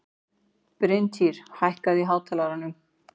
Bryntýr, hækkaðu í hátalaranum.